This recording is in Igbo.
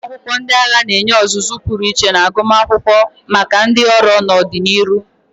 Ụlọ akwụkwọ ndị agha na-enye ọzụzụ pụrụ iche na agụmakwụkwọ maka ndị ọrụ n'ọdịnihu.